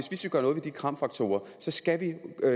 kram faktorer skal vi